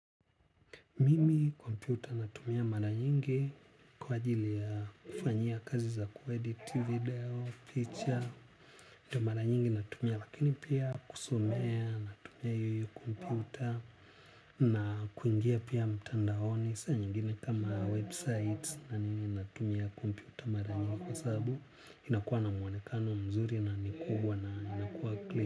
Mimi kompyuta natumia mara nyingi kwa ajili ya kufanya kazi za kuedit video, picha. Ndio mara nyingi natumia lakini pia kusomea, natumia hiyohiyo kompyuta nakuingia pia mtandaoni. Saa nyengine kama website na nini natumia kompyuta mara nyingi kwa sababu inakuwa na muonekano mzuri na nikubwa na inakuwa clear.